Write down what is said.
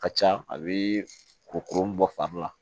Ka ca a bɛ kurukuru bɔ fari la